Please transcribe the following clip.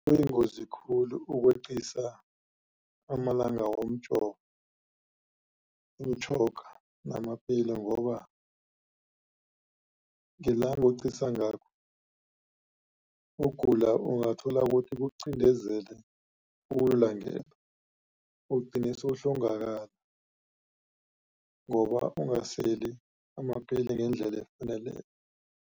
Kuyingozi khulu ukweqisa amalanga womjova, imitjhoga namapeli ngoba ngelanga oweqinisa ngalo ukugula ungathola ukuthi kukucindezele ugcine sewuhlongakala ngoba ungaseli amapilisi ngendlela efaneleko.